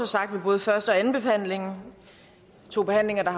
sagt ved både første og andenbehandlingen to behandlinger der